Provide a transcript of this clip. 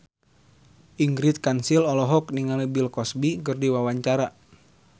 Ingrid Kansil olohok ningali Bill Cosby keur diwawancara